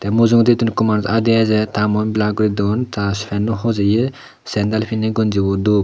amujugaytune eko manus adiaajar tar muone balar goridone ta panow hojaay sendal pini gonji bow dup.